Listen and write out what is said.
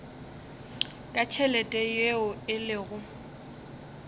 ka tšhelete yeo e lego